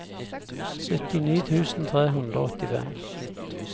syttini tusen tre hundre og åttifem